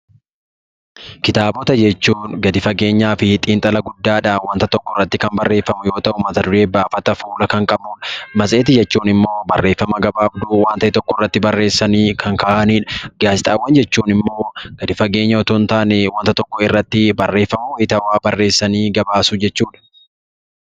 Kitaabota jechuun gadi fageenyaa fi xiinxala guddaa dhaan wanta tokko irratti kan barreeffamu yoo ta'u, mata duree, baafata, fuula kan qabu dha. Matseetii jechuun immoo barreeffama gabaabduu waan ta'e tokko irratti barreessanii kan kaa'ani dha. Gaazexaawwan jechuun immoo gadi fageenyaan utuu hin taane wanta tokko irratti barreeffama waayitaawaa barreessanii gabaasuu jechuu dha.